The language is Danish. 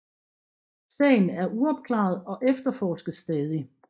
Sagen er uopklaret og efterforskes stadig